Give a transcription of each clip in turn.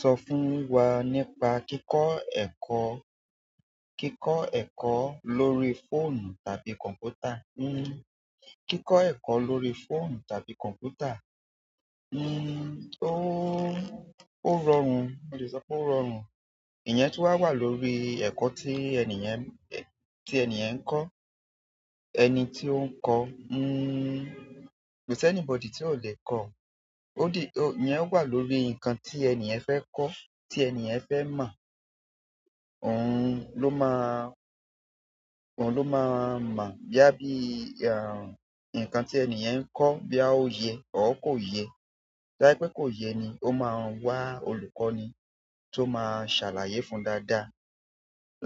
Sọ fún wa nípa kíkọ́ ẹ̀kọ́, kíkọ́ ẹ̀kọ́ lórí fóònù tàbí kọ̀mpútà. Hmm, kíkọ́ ẹ̀kọ́ lórí fóònù tàbí kọ̀mpútà. Hmm, ó-ó rọrùn, mo le sọ pé ó rọrùn. Iyen tun wa wa lórí eko ti eniyen n-, ti eniyen n ko, ẹni ti o n ko, uhn, ko si anybody ti o le ko ó di, ìyẹn wà lórí nǹkan tí ènì yen fẹ́ kọ́, tí ènì yen fẹ́ mọ́. Òun ló máa, òun ló máa mo baya bí, àh, nǹkan tí ènì yen ń kọ́ boya ó yẹ, or kó yẹ. To ba je pé kò yẹ ni, ó máa wá olùkọ́ni tó máa ṣàlàyé fún dáadáa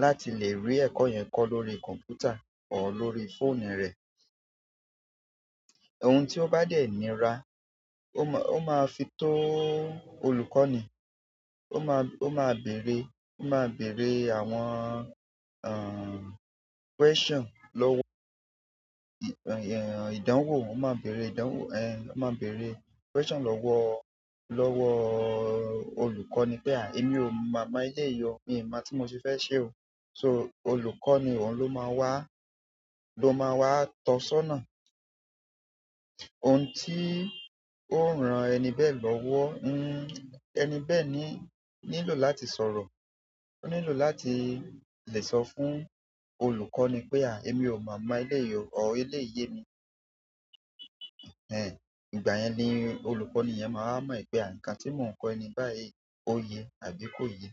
láti lè rí ẹ̀kọ́ yẹn kọ́ lórí kọ̀mpútà or lórí fóònù rẹ̀. Ohun tí ó bá dẹ̀ níra, ó ma, ó máa fi tó olùkọ́ ni ó máa, ó máa bèèrè, ó máa bèèrè àwọn, àh, question lọ́wọ́, ìyẹ̀n, ìdánwò, ó máa bèèrè ìdánwò, ẹh, ó máa bèèrè question lọ́wọ́, lọ́wọ́ olùkọ́ni pé à emí ò maa mọ eleyii o, mi mọ̀ tí mo ṣe fẹ́ ṣe o. So olùkọ́ni òun ló máa wá, ló máa wá tọ́sona ohun tí ó ran ẹni bẹ́ lọ́wọ́. Hmm, ẹni bẹ̀ ní, nílò láti sọ̀rọ̀. Ó nílò láti lè sọ fún olùkọ́ ni pé àh emí ò maa mọ eleyi ọ́, or eleyi yẹ́ mi. Ẹ̀hnehn, ìgbà yẹn ni olùkọ́ni yẹn máa mọ̀ wipé àh, nǹkan tí mò ń kọ́ ẹni báyìí ó ye àbí kò ye.